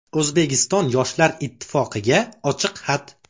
O‘zbekiston Yoshlar ittifoqiga ochiq xat.